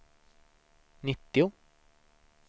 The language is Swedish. nittio